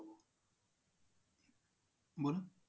बोला